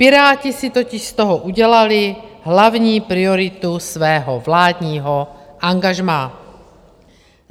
Piráti si totiž z toho udělali hlavní prioritu svého vládního angažmá.